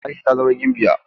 Aisha ta zama gimbiya.